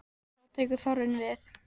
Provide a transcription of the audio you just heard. Þá tekur þorrinn við.